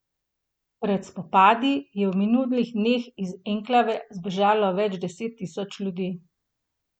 Pred spopadi je v minulih dneh iz enklave zbežalo več deset tisoč ljudi.